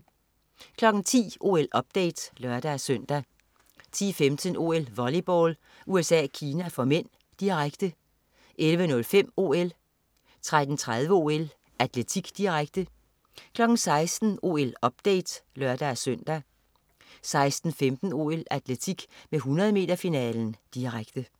10.00 OL-update (lør-søn) 10.15 OL: Volleyball. USA-Kina (m), direkte 11.05 OL 13.30 OL: Atletik, direkte 16.00 OL-update (lør-søn) 16.15 OL: Atletik med 100 m-finalen, direkte